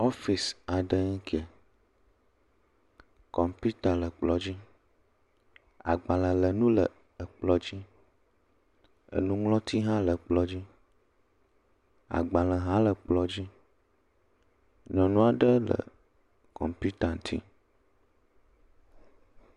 Ɔfisi aɖee ŋkeɛ. Kɔmpiuta le kplɔ̃ dzi. Agbalẽlénu le ekplɔ̃ dzi. Enuŋlɔti hã le kplɔ̃ dzi. Agbalẽ hã le kplɔ̃ dzi. Nyɔnu aɖe le kɔmpiuta ŋti